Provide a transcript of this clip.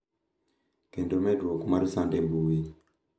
Kendo medruok mar sand e mbui.